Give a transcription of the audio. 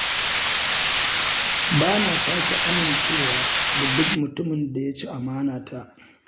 Bana sake amincewa da duk mutumin da ya ci amanta.